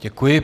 Děkuji.